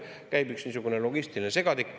Käib üks niisugune logistiline segadik.